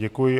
Děkuji.